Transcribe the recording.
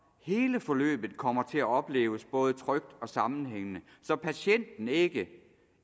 hele forløbet kommer til at opleves både trygt og sammenhængende så patienten ikke